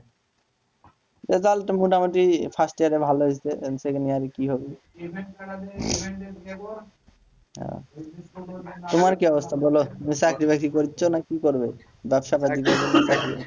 Result মোটামটি first year এ ভালো হয়েছে তোমার কি অবস্থা বলো তুমি চাকরি বাকরি করছো না কি করবে ব্যবসা